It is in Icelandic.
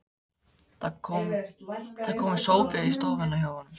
Það er kominn sófi á stofuna hjá honum.